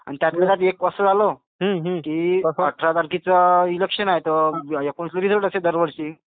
आणि त्यातल्या त्यात एक असं झाल की अठरा तारखेच इलेक्शन आहे तर एकोणीस ला रिझल्ट असते दर वर्षी.